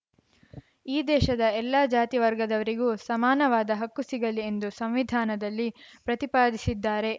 ಈ ದೇಶದ ಎಲ್ಲ ಜಾತಿ ವರ್ಗದವರಿಗೂ ಸಮಾನವಾದ ಹಕ್ಕು ಸಿಗಲಿ ಎಂದು ಸಂವಿಧಾನದಲ್ಲಿ ಪ್ರತಿಪಾದಿಸಿದ್ದಾರೆ